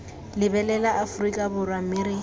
lebelela aforika borwa mme re